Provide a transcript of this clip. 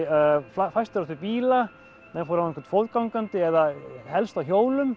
fæstir áttu bíla menn fóru annað hvort fótgangandi eða helst á hjólum